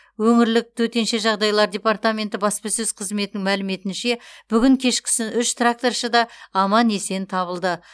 өңірлік төтенше жағдайлар департаменті баспасөз қызметінің мәліметінше бүгін кешкісін үш тракторшы да аман есен табылды